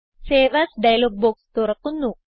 save as dialog box തുറക്കുന്നു